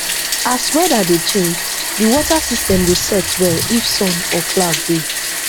as weather dey change the water system dey set well if sun or cloud dey